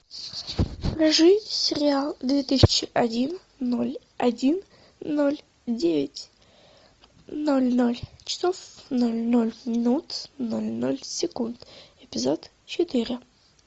покажи сериал две тысячи один ноль один ноль девять ноль ноль часов ноль ноль минут ноль ноль секунд эпизод четыре